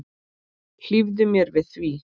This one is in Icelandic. Hlífðu mér við því.